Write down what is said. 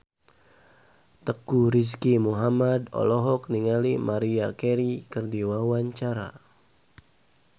Teuku Rizky Muhammad olohok ningali Maria Carey keur diwawancara